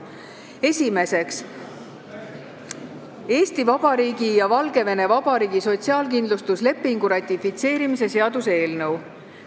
Esimeseks, Eesti Vabariigi ja Valgevene Vabariigi sotsiaalkindlustuslepingu ratifitseerimise seaduse eelnõu.